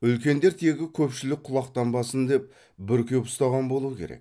үлкендер тегі көпшілік құлақтанбасын деп бүркеп ұстаған болу керек